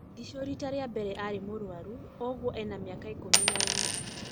Ndicũ rita rĩa mbere arĩ mũrwaru ũũnguo ena miaka ikũmi na inya